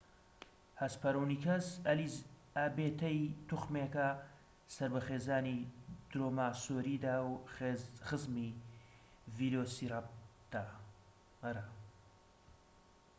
هەسپەرۆنیکەس ئەلیزابێتەی توخمێکە سەر بە خێزانی درۆماسۆریدە و خزمی ڤیلۆسیراپتەرە